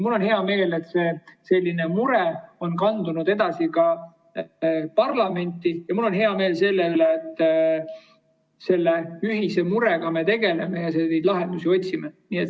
Mul on hea meel, et selline mure on kandunud ka parlamenti, ja mul on hea meel selle üle, et me selle ühise murega tegeleme ja lahendusi otsime.